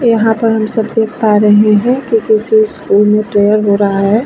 यहाँ पर हम सब देख पा रहे हैं क्यूंकी उस स्कूल मे प्रैअर हो रहा है।